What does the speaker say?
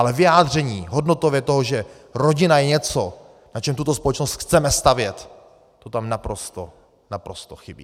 Ale vyjádření hodnotově toho, že rodina je něco, na čem tuto společnost chceme stavět, to tam naprosto, naprosto chybí.